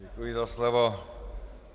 Děkuji za slovo.